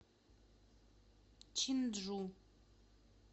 чинджу